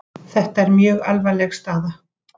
Þetta er mjög alvarleg staða